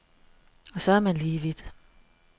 Og så er man lige vidt.